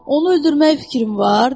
Onu öldürmək fikrin var?